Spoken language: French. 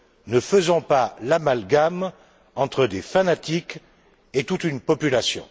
Ne faisons pas l'amalgame entre des fanatiques et toute une population!